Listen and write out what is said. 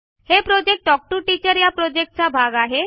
हे project talk to teacher या प्रॉजेक्टचा भाग आहे